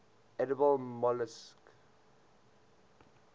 edible molluscs